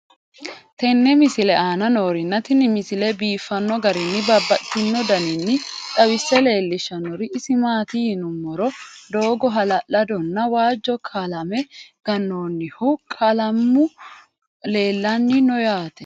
tenne misile aana noorina tini misile biiffanno garinni babaxxinno daniinni xawisse leelishanori isi maati yinummoro doogo hala'lado nna wajjo qalame ganoonnihu qalaammu leelanni noo yaatte